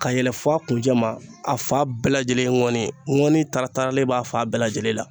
Ka yɛlɛ f'a kun cɛ ma a fa bɛɛ lajɛlen ŋɔni ŋɔni taara taara ne b'a fa bɛɛ lajɛlen la.